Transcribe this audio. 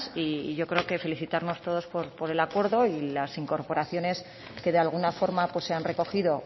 y yo creo que felicitarnos todos por el acuerdo y las incorporaciones que de alguna forma se han recogido